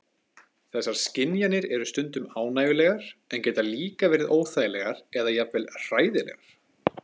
Þessar skynjanir eru stundum ánægjulegar en geta líka verið óþægilegar eða jafnvel hræðilegar.